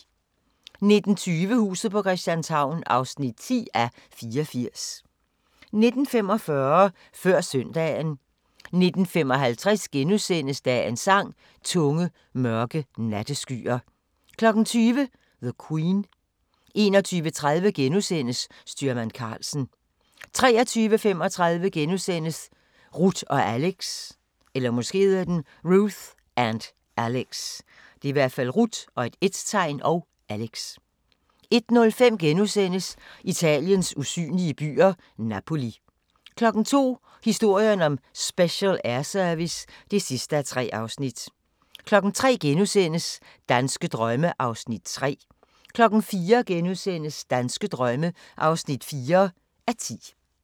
19:20: Huset på Christianshavn (10:84) 19:45: Før søndagen 19:55: Dagens Sang: Tunge, mørke natteskyer * 20:00: The Queen 21:30: Styrmand Karlsen * 23:35: Ruth & Alex * 01:05: Italiens usynlige byer – Napoli * 02:00: Historien om Special Air Service (3:3) 03:00: Danske drømme (3:10)* 04:00: Danske drømme (4:10)*